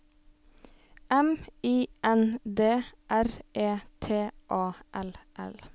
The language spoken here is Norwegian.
M I N D R E T A L L